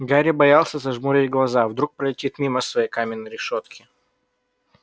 гарри боялся зажмурить глаза вдруг пролетит мимо своей каминной решётки